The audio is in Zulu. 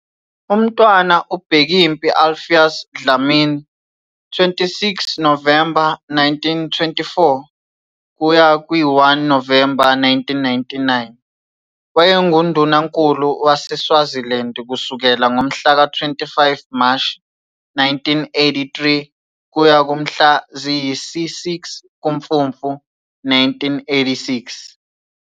UMntwana uBhekimpi Alpheus Dlamini, 26 Novemba 1924 - 1 Novemba 1999, wayenguNdunankulu waseSwaziland kusukela ngomhlaka 25 Mashi 1983 kuya kumhla ziyisi-6 kuMfumfu 1986.